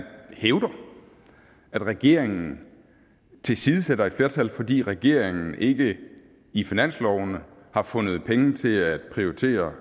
hævder at regeringen tilsidesætter et flertal fordi regeringen ikke i finansloven har fundet penge til at prioritere